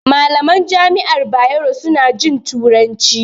Malaman jami'ar Bayero su na jin turanci